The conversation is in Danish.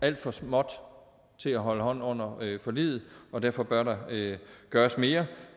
alt for småt til at holde hånden under forliget og derfor bør der gøres mere